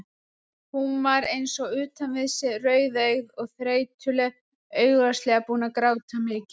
Hún var eins og utan við sig, rauðeygð og þreytuleg, augljóslega búin að gráta mikið.